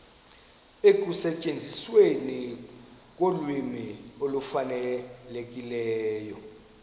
ekusetyenzisweni kolwimi olufanelekileyo